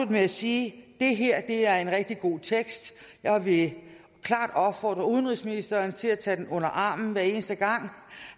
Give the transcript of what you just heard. med at sige at det her er en rigtig god tekst jeg vil klart opfordre udenrigsministeren til at tage den under armen hver eneste gang